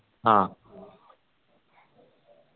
ആഹ്